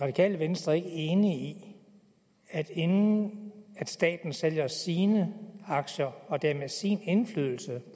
radikale venstre ikke enig i at inden staten sælger sine aktier og dermed sin indflydelse